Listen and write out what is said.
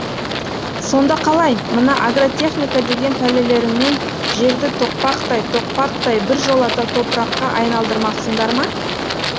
сонда қалай мына агротехника деген пәлелеріңмен жерді тоқпақтай тоқпақтай біржолата топыраққа айналдырмақсыңдар ма